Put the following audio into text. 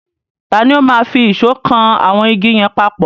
Tani ó máa fi ìṣọ́ kan àwọn igi yẹn papọ̀?